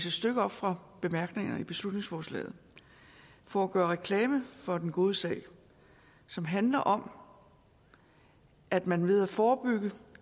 et stykke op fra bemærkningerne til beslutningsforslaget for at gøre reklame for den gode sag som handler om at man ved at forebygge